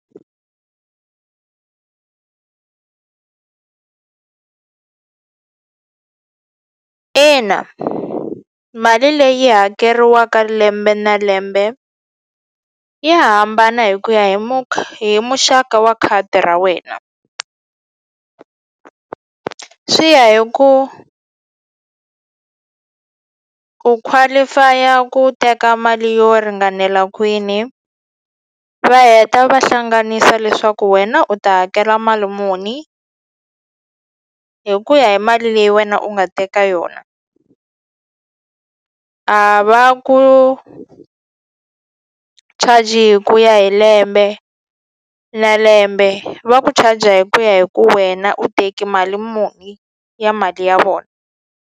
Ina i mali leyi hakeriwaka lembe na lembe ya hambana hi ku ya hi hi muxaka wa khadi ra wena swi ya hi ku u qualify-a ku teka mali yo ringanela kwini va heta va hlanganisa leswaku wena u ta hakela mali muni hi ku ya hi mali leyi wena u nga teka yona a va ku charge hi ku ya hi lembe na lembe va ku charger hi ku ya hi ku wena u teki mali muni ya mali ya vona.